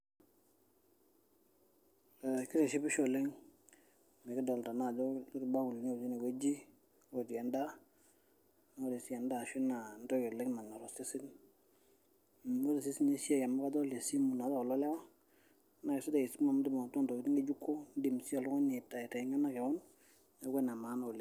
Ee keitishipisho oleng enikidolta ajo etii irbakulini otii enewueji otii endaa na ore si endaa na entoki oshi nanyor osesen ,nidol na sinye esimu amu kajo lesimu si kulo lewa , na kesidai esimu oleng amu indim nye atadua ntokitin ngejuko nindim aitengena keon neaku ene maana oleng.